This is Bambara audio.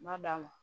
N m'a d'a ma